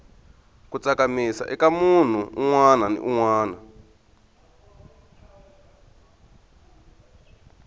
ku tsakamisa ika munhu unwana ni unwana